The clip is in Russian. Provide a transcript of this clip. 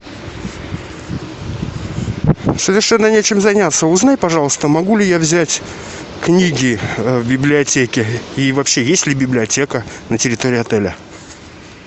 совершенно нечем заняться узнай пожалуйста могу ли я взять книги в библиотеке и вообще есть ли библиотека на территории отеля